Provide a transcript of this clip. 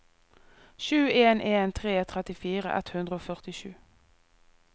sju en en tre trettifire ett hundre og førtisju